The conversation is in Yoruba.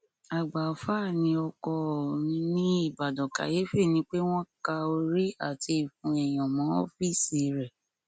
àgbà alfa ni ọkọ ò mí nìbàdàn kàyéfì ni pé wọn ka orí àti ìfun èèyàn mọ ọọfíìsì rẹ